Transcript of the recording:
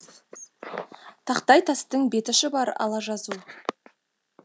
тақтай тастың беті шұбар ала жазу